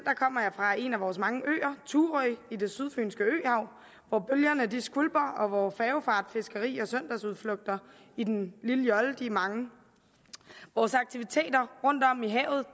fra en af vores mange øer thurø i det sydfynske øhav hvor bølgerne skvulper og hvor færgefart fiskeri og søndagsudflugter i den lille jolle er mange vores aktiviteter rundtom i havet